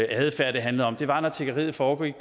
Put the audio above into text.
adfærd det handlede om det var når tiggeriet foregik